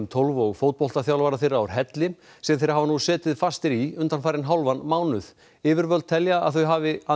tólf og þeirra úr helli sem þeir hafa nú setið fastir í undanfarinn hálfan mánuð yfirvöld telja að þau hafi